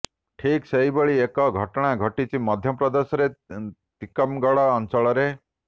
ଠିକ୍ ସେହିଭଳି ଏକ ଘଟଣା ଘଟିଛି ମଧ୍ୟପ୍ରଦେଶର ତିକମଗଡ଼ ଅଞ୍ଚଳରେ